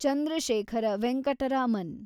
Chandrashekhara Venkata Raman